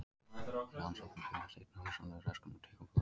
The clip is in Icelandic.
Rannsóknir beinast einnig að hugsanlegum röskunum á taugaboðefnum.